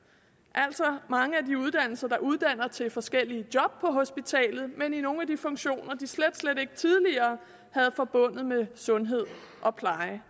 altså mange af de uddannelser der uddanner til forskellige job på hospitalet men i nogle af de funktioner de slet slet ikke tidligere havde forbundet med sundhed og pleje